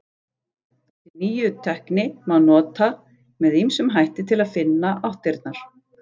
Þessa nýju tækni má nota með ýmsum hætti til að finna áttirnar.